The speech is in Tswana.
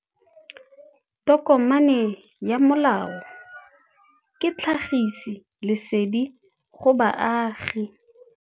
Tokomane ya molao ke tlhagisi lesedi go baagi.